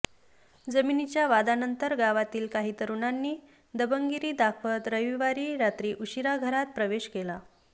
जमिनीच्या वादानंतर गावातील काही तरुणांनी दबंगगिरी दाखवत रविवारी रात्री उशिरा घरात प्रवेश केला